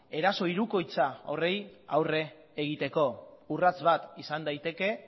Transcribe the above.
eraso hirukoitza horiei aurre egiteko urrats bat izan daiteke